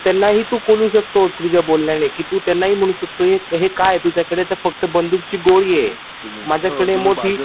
त्यांनाही तू बोलू शकतोस तुझ्या बोलण्याने त्यांनाही तू बोलू शकतो कि हे काय काय आहे तुझ्याकडे तर फक्त बंदुकांची गोळी आहे माझ्याकडे मोठी गोळी आहे